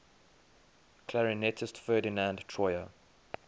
clarinetist ferdinand troyer